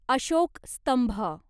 अशोक स्तंभ